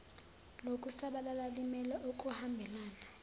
lokusabalala limele ukuhambelana